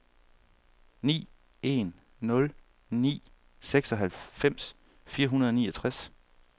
ni en nul ni seksoghalvfems fire hundrede og niogtres